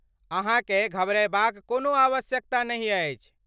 अहाँकेँ घबरयबाक कोनो आवश्यकता नहि अछि।